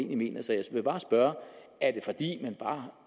mener så jeg vil bare spørge er